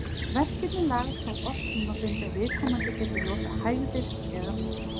Verkirnir lagast þó oft tímabundið ef viðkomandi getur losað hægðir eða vind.